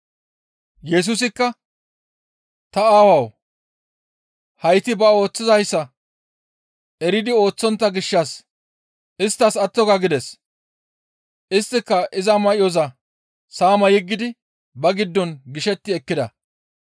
Yesusikka, «Ta Aawawu! Hayti ba ooththizayssa eridi ooththontta gishshas isttas atto ga!» gides; isttika iza may7oza saama yeggidi ba giddon gishetti ekkida.